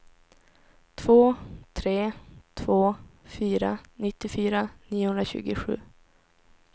två tre två fyra nittiofyra niohundratjugosju